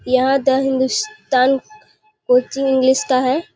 यहाँ the Hindustan coaching English का है।